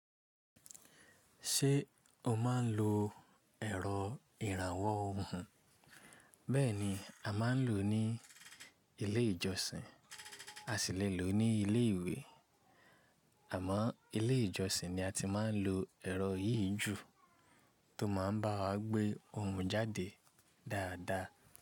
Ṣé o máa ń lo ẹ̀rọ ìrànwọ́ ohun? Bẹ́ẹ̀ni, a máa ń lò ó ní ilé ìjọsìn, a sì lè lò ó ní ilé ìwé. Àmọ́ ilé ìjọsìn ni a ti máa ń lo ẹ̀rọ yìí jù tó máa ń bá wa gbé ohùn jáde dáadáa.